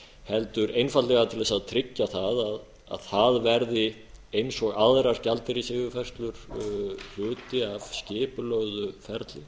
heldur einfaldlega til þess að tryggja það að það verði eins og aðrar gjaldeyrisyfirfærslur hluti af skipulögðu ferli